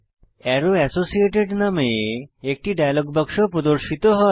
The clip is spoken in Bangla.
আরো এসোসিয়েটেড নামে একটি ডায়ালগ বাক্স প্রদর্শিত হয়